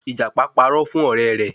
Ìjàpá parọ́ fún ọ̀rẹ́ rẹ̀